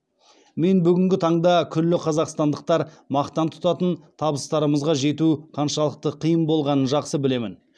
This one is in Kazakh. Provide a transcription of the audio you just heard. мен бүгінгі таңда күллі қазақстандықтар мақтан тұтатын табыстарымызға жету қаншалықты қиын болғанын жақсы білемін